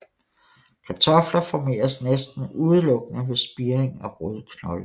Kartofler formeres næsten udelukkende ved spiring af rodknolde